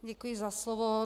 Děkuji za slovo.